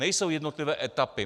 Nejsou jednotlivé etapy.